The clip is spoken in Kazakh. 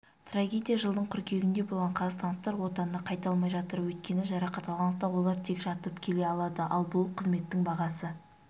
трагедия жылдың қыркүйегінде болған қазақстандықтар отанына қайта алмай жатыр өйткені жарақат алғандықтан олар тек жатып келе алады ал бұл қызметтің бағасы